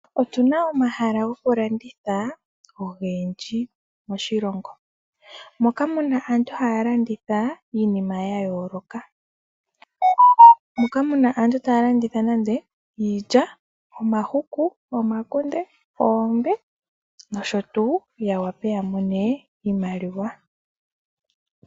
Otuna omahala gokulanditha ogendji moshilongo. Moka muna aantu haya landitha iinima yayooloka. Aantu ta ya landitha nade iilya, omahuku, omakunde noombe, ya wape yamone iimaliwa.